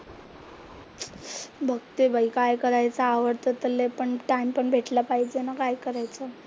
बघते बाई, काय करायचं आवडतं तर लय पण टाइम पण भेटला पाहिजे ना काय करायचं?